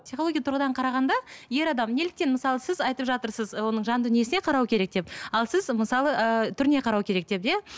психология тұрғыдан қарағанда ер адам неліктен мысалы сіз айтып жатырсыз оның жан дүниесіне қарау керек деп ал сіз мысалы ыыы түріне қарау керек деп иә